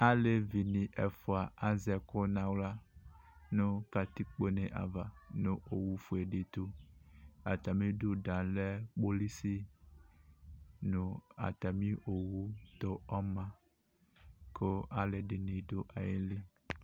Alevi ɛfʋa azɛ ɛkʋ nʋ aɣla nʋ katikpo ava nʋ owʋ fuele tʋ kʋ atamɩ idu kpolʋsɩ owʋ ma kʋ alʋɛdɩnɩ dʋ ayili